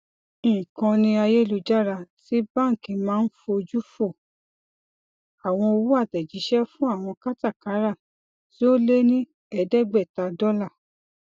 ìkànni ayélujára ti bánkì máa n fojú fò àwọn owó àtẹjíṣẹ fún àwọn kátàkárà tí ó lé ní ẹẹdẹgbẹta dọla